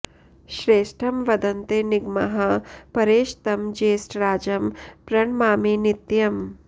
श्रेष्ठं वदन्ते निगमाः परेश तं ज्येष्ठराजं प्रणमामि नित्यम्